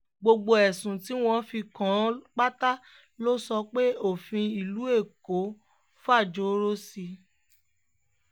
gbogbo ẹ̀sùn tí wọ́n fi kàn án pátá ló sọ pé òfin ìlú èkó fàjọrò sí